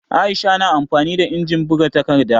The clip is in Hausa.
Aisha na amfani da injimin buga takarda